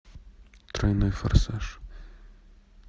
тройной форсаж